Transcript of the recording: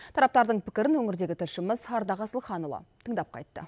тараптардың пікірін өңірдегі тілшіміз ардақ асылханұлы тыңдап қайтты